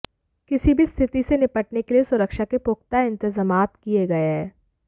किसी भी स्थिति से निपटने के लिए सुरक्षा के पुख्ता इंतेजामात किए गए हैं